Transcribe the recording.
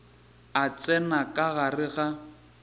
a tsena ka gare ga